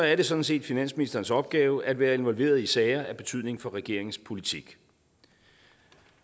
er det sådan set finansministerens opgave at være involveret i sager af betydning for regeringens politik